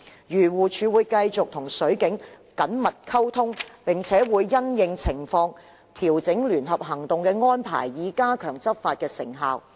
漁護署會繼續與水警緊密溝通，並會因應情況調整聯合行動的安排，以加強執法成效。